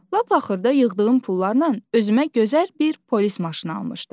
Lap axırda yığdığım pullarla özümə gözəl bir polis maşını almışdım.